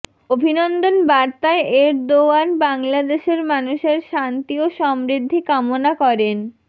অভিনন্দন বার্তায় এরদোয়ান বাংলাদেশের মানুষের শান্তি ও সমৃদ্ধি কামনা করেন